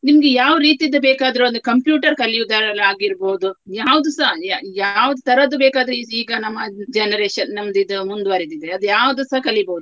ನಿಮ್ಗೆ ಯಾವು ರೀತಿಯದ್ದು ಬೇಕಾದ್ರು ಒಂದು computer ಕಲಿಯುದಾಗಿರ್ಬೋದು ಯಾವ್ದುಸ ಯಾ~ ಯಾವುದು ತರದ್ದು ಬೇಕಾದ್ರೆ ಇದು ಈಗ ನಮ್ಮ generation ನಮ್ದು ಇದು ಮುಂದುವರಿದಿದೆ ಅದು ಯಾವ್ದುಸ ಕಲಿಬೋದು.